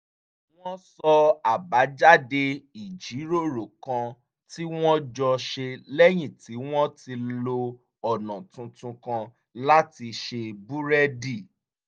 wọ́n sọ àbájáde ìjíròrò kan tí wọ́n jọ ṣe lẹ́yìn tí wọ́n ti lo ọ̀nà tuntun kan láti ṣe búrẹ́dì